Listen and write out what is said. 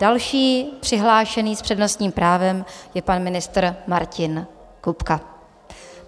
Další přihlášený s přednostním právem je pan ministr Martin Kupka.